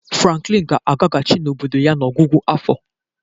Franklin ga-agagachị obodo ya n'ọgwụgwụ afọ.